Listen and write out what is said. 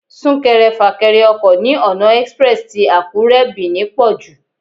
Súnkẹrẹ fàkẹrẹ ọkọ̀ ní ọ̀nà express tì Àkúré /Benin pọ̀jù.